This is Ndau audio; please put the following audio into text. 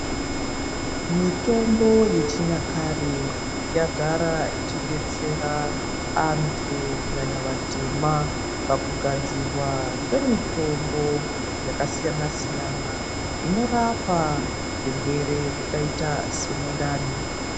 Mitombo yechinyakare yagara ichidetsera antu kunyanya vatema pakugadzirwa kwemitombo yakasiyana siyana inorapa zvirwere zvakaita semundani.